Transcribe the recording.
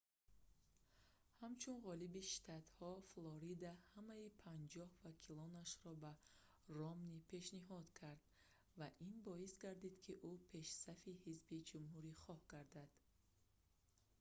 ҳамун ғолиби штатҳо флорида ҳамаи панҷоҳ вакилонашро ба ромни пешниҳод кард ва ин боис гардид ки ӯ пешсафи ҳизби ҷумҳурихоҳ гардид